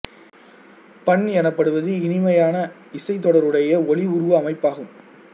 பண் எனப்படுவது இனிமையான இசைத் தொடருடைய ஒலி உருவ அமைப்பாகும்